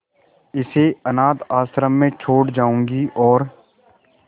इसे अनाथ आश्रम में छोड़ जाऊंगी और